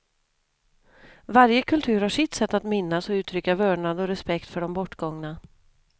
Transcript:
Varje kultur har sitt sätt att minnas och uttrycka vördnad och respekt för de bortgångna.